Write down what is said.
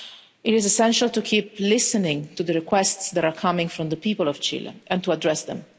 It is essential to keep listening to the requests that are coming from the people of Chile and to address them.